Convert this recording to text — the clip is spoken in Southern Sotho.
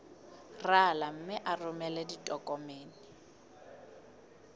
rala mme o romele ditokomene